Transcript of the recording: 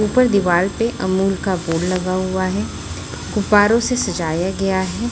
ऊपर दिवाल पे अमूल का बोर्ड लगा हुआ है गुब्बारों से सजाया गया है।